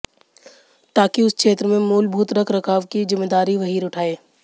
ताकि उस क्षेत्र में मूलभूत रखरखाव की ज़िम्मेदारी वही उठाए